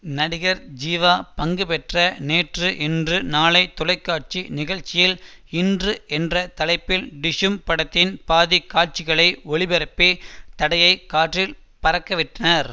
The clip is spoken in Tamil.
நடிகர் ஜீவா பங்குபெற்ற நேற்று இன்று நாளை தொலைக்காட்சி நிகழ்ச்சியில் இன்று என்ற தலைப்பில் டிஷ்யூம் படத்தின் பாதி காட்சிகளை ஒளிபரப்பி தடையை காற்றில் பறக்கவிட்டனர்